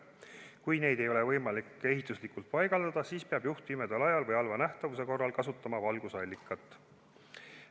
Kui neid ei ole ehituslikult võimalik paigaldada, siis peab juht pimeda ajal või halva nähtavuse korral kasutama valgusallikat.